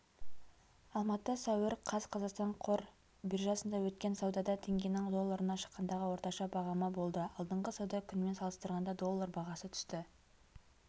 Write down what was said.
алматы сәуір қаз қазақстан қор биржасында өткен саудада теңгенің долларына шаққандағы орташа бағамы болды алдыңғы сауда күнімен салыстырғанда доллар бағасы түсті